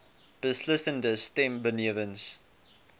beslissende stem benewens